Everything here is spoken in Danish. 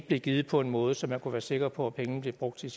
blev givet på en måde så man ikke kunne være sikker på at pengene blev brugt til